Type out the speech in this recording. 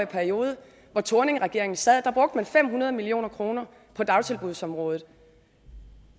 periode thorningregeringen sad brugte man fem hundrede million kroner på dagtilbudsområdet